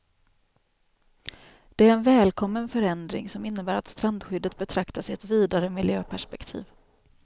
Det är en välkommen förändring, som innebär att strandskyddet betraktas i ett vidare miljöperspektiv.